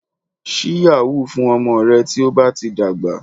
Ṣí yahoo fún ọmọ rẹ tí ó bá ti dàgbà